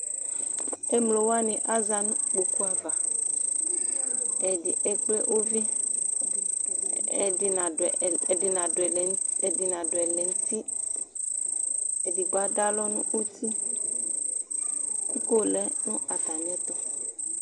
Ɛmlo wani azã nʋ kpoku'avaƐdi ekple uviƐdi nadu , ɛlɛ, ɛdi nadu ɛlɛnutiEdigbo adʋ alɔ nutiKʋ iko lɛ nʋ atami ɛtu